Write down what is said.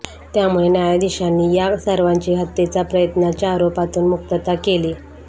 त्यामुळे न्यायाधीशांनी या सर्वांची हत्येचा प्रयत्नाच्या आरोपातून मुक्तता केली